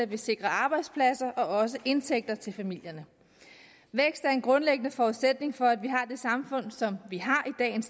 vi sikrer arbejdspladser og også indtægter til familierne vækst er en grundlæggende forudsætning for at vi har det samfund som vi har